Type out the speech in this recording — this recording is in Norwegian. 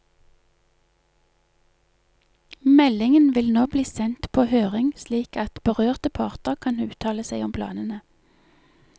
Meldingen vil nå bli sendt på høring slik at berørte parter kan uttale seg om planene.